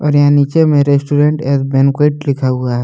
और यहां नीचे में रेस्टोरेंट और बैंक्विट लिखा हुआ है।